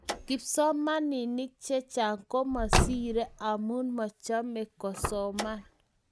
Kipsomanik chechang komasiri amu machome kosoman.